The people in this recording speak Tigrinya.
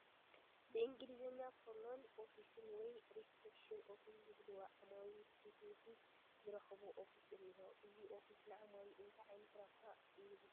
ብእንግሊዝኛ ፍሮንት ኦፊስ ወይ ሪሰፕሽን ኦፊስ ዝብልዎ ዓማዊል ንፊት ንፊት ዝረኽብዎ ኦፊት እኒሆ፡፡ እዚ ኦፊስ ንዓማዊል እንታይ ዓይነት ረብሓ ይህብ?